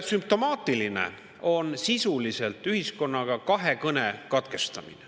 Sümptomaatiline on sisuliselt ühiskonnaga kahekõne katkestamine.